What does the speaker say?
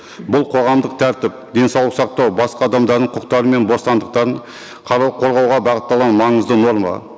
бұл қоғамдық тәртіп денсаулық сақтау басқа адамдардың құқықтары мен бостандықтарын қарау қорғауға бағытталған маңызды норма